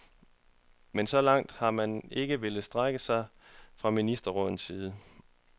Men så langt har man ikke villet strække sig fra ministerrådets side.